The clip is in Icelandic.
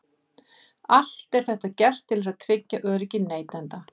Allt er þetta gert til þess að tryggja öryggi neytenda.